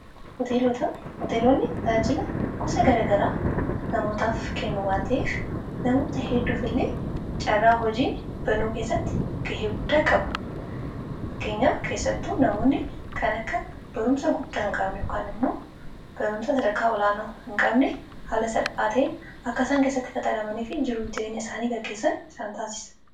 hoteelota. hooteeloonni tajaajila gosa garagaraa namootaaf kennu waan ta'eef namoota hedduuf illee carraa hojii banuu keessatti gahee guddaa qabu fakkeenyaa keessattu namoonni kan akka barumsa guddaa hin qabne yookan immoo barumsa sadarkaa olaana hin qabne haala salphaata'iin akka isaan keessatti qacaramanii fi jiruuf jireenya isaanii gaggeessan isaan taasisa